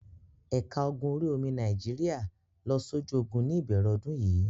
Ẹ̀ka ogun orí-omi Nàìjíríà lọ sójú ogun ní ìbẹ̀rẹ̀ ọdún yìí.